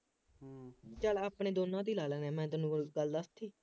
ਚੱਲ ਆਪਣੇ ਦੋਨਾਂ ਤੇ ਹੀ ਲਾ ਲੈ, ਫੇਰ ਮੈਂ ਤੈਨੂੰ ਕੋਈ ਗੱਲ ਦੱਸਤੀ